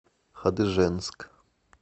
хадыженск